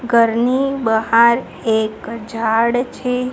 ઘરની બહાર એક ઝાડ છે.